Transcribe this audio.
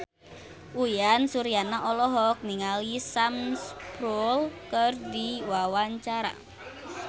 Uyan Suryana olohok ningali Sam Spruell keur diwawancara